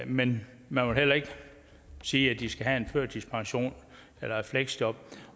men man vil heller ikke sige at de skal have en førtidspension eller et fleksjob